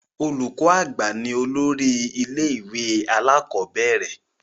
Olùkọ àgbà ni olórí ilé ìwé alakọ̀bẹ́ẹ́rẹ̀